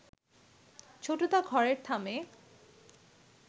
ছোটদা ঘরের থামে